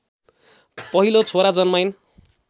पहिलो छोरा जन्माइन्